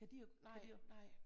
Nej nej